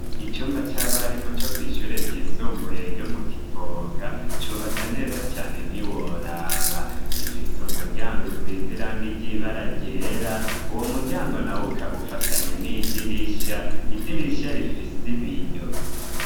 Icumba c'abarimu co kwishyure ryisumbuye ryo mu Kivoga ,cubatse neza cane ntiworaba gifise umuryango usiz'irangi ry'ibara ryera uwo muryango naw'ukaba ufatanye n'idirisha idirisha rifis' ibiyo